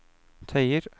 tøyer